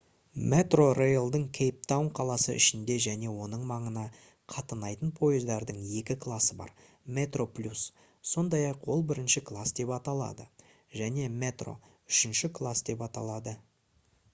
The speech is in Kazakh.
metrorail-дың кейптаун қаласы ішінде және оның маңына қатынайтын пойыздарының екі классы бар: metroplus сондай-ақ ол бірінші класс деп аталады және metro үшінші класс деп аталады